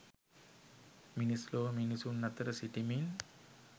මිනිස් ලොව මිනිසුන් අතර සිටිමින්